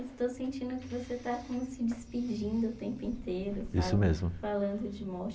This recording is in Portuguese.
É que eu estou sentindo que você está assim, se despedindo o tempo inteiro. Isso mesmo. Falando de morte.